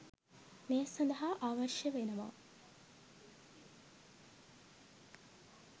මේ සඳහා අවශ්‍ය වෙනවා.